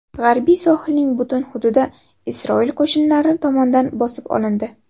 G‘arbiy sohilning butun hududi Isroil qo‘shinlari tomonidan bosib olindi.